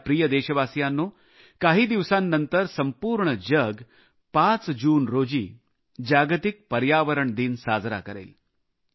माझ्या प्रिय देशवासियांनो काही दिवसांनंतर संपूर्ण जग 5 जून रोजी जागतिक पर्यावरण दिन साजरा करेल